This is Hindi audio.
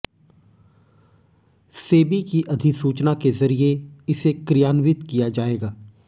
सेबी की अधिसूचना के जरिये इसे क्रियान्वित किया जाएगा